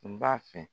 N b'a fɛ